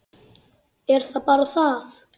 Er það bara það?